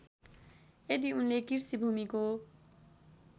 यदि उनले कृषिभूमिको